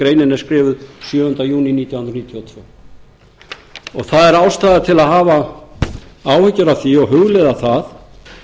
greinin er skrifuð sjöunda júní nítján hundruð níutíu og tvö það er ástæða til að hafa áhyggjur af því og hugleiða það